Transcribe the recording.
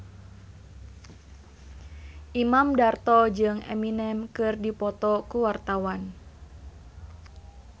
Imam Darto jeung Eminem keur dipoto ku wartawan